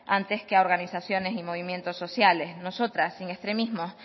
antes que a organizaciones y movimientos sociales nosotras sin extremismos